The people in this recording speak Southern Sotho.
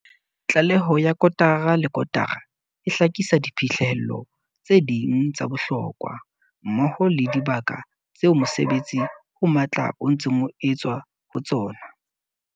Tlaleho ya kotara le kotara e hlakisa diphihlello tse ding tsa bohlokwa, mmoho le dibaka tseo mosebetsi o matla o ntseng o etswa ho tsona.